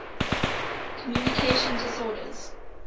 communication disorders